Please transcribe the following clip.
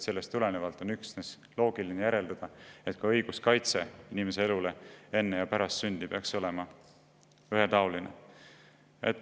Sellest tulenevalt saab loogiliselt järeldada üksnes seda, et inimese eluõiguse kaitse enne ja pärast sündi peaks olema ühetaoline.